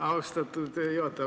Austatud juhataja!